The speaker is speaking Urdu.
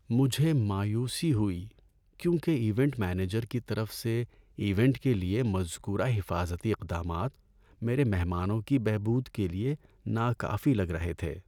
مجھے مایوسی ہوئی کیونکہ ایونٹ مینیجر کی طرف سے ایونٹ کے لیے مذکورہ حفاظتی اقدامات میرے مہمانوں کی بہبود کے لیے ناکافی لگ رہے تھے۔